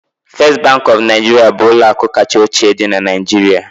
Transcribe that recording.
First Bank of Nigeria bụ ụlọ akụ kacha ochie dị na Nigeria